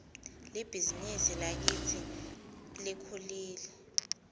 libhizinisi lakitsi lkhulile